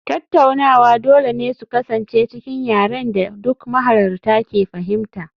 Tattaunawa dole ne su kasance cikin yaren da duk mahalarta ke fahimta